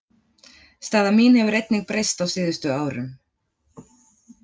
Staða mín hefur einnig breyst á síðustu árum.